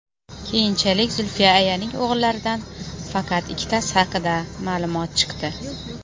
Keyinchalik Zulfiya ayaning o‘g‘illaridan faqat ikkitasi haqida ma’lumot chiqdi.